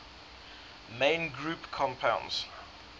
main group compounds